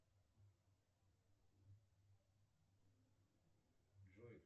джой